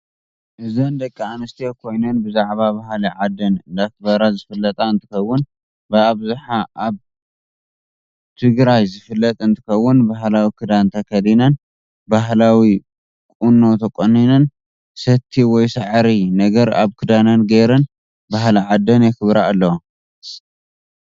እዘን ደቂ ኣንስትዮ ኮይነን ብዛዕባ ባህሊ ዓደን እደክበራ ዝፍለጥ እንትከውን ብኣብዛሓ ኣብ ትበግራይ ዝፍለጥ እንትከውን ባህላዊ ክዳን ተከዲነን ባህላዊ ቁመኖ ተቆኒነን ሰቲ ወይ ሳዕሪ ነገር ኣብ ክዳነን ገይረን ባህሊ ዓዲን ይክብራ ኣለዋ